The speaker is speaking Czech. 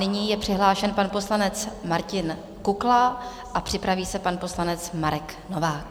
Nyní je přihlášen pan poslanec Martin Kukla a připraví se pan poslanec Marek Novák.